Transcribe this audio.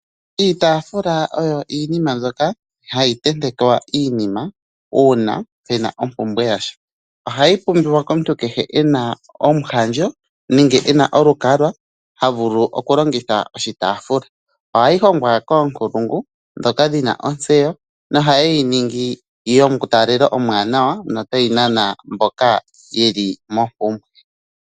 Iitafula oyo iinima mbyoka hayi tentekwa iinima uuna pena ompumbwe yasha ohayi pumbiwa komuntu kehe ena omuhandjo nenge ena olukalwa havulu okulongitha oshitafula, ohayi hongwa konkulungu dhoka dhina ontseyo no ohaye yiningi yo mutalelelo omwaanawa nota yinana mboka yeli mompumbwe.